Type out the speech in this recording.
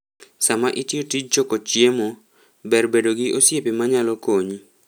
Sama itiyo tij choko chiemo, ber bedo gi osiepe manyalo konyi.